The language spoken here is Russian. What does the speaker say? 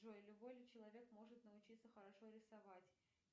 джой любой ли человек может научиться хорошо рисовать